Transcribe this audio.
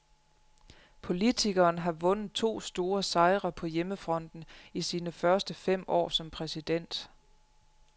Politikeren har vundet to store sejre på hjemmefronten i sine første fem år som præsident.